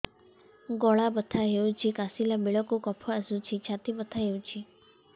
ଗଳା ବଥା ହେଊଛି କାଶିଲା ବେଳକୁ କଫ ଆସୁଛି ଛାତି ବଥା ହେଉଛି